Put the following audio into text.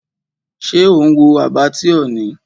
Ṣé ò ń wo Abattoir ni?